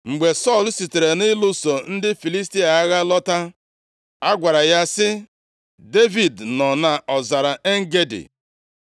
Mgbe Sọl sitere nʼịlụso ndị Filistia agha lọta, a gwara ya sị, “Devid nọ nʼọzara En-Gedi.”